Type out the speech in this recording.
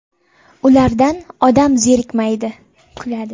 Ulardan odam zerikmaydi... (kuladi).